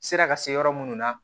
Sera ka se yɔrɔ munnu na